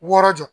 Wɔɔrɔ jɔ